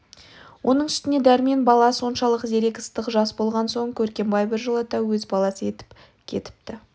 оның үстіне дәрмен бала соншалық зерек ыстық жас болған соң көркембай біржолата өз баласы етіп кетіпті